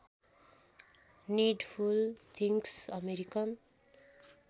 needful things American